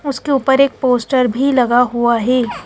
उसके ऊपर एक पोस्टर भी लगा हुआ है।